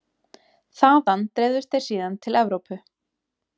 Þaðan dreifðust þeir síðan til Evrópu.